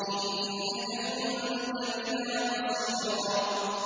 إِنَّكَ كُنتَ بِنَا بَصِيرًا